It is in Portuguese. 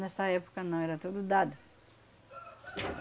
Nessa época não, era tudo dado.